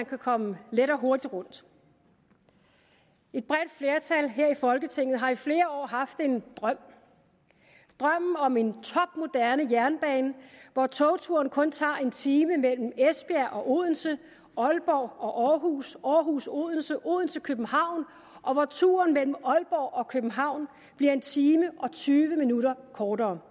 kan komme let og hurtigt rundt et bredt flertal her i folketinget har i flere år haft en drøm drømmen om en topmoderne jernbane hvor togturen kun tager en time mellem esbjerg og odense aalborg og aarhus aarhus og odense og odense og københavn og hvor turen mellem aalborg og københavn bliver en time og tyve minutter kortere